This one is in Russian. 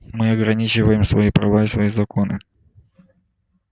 мы ограничиваем свои права и свои законы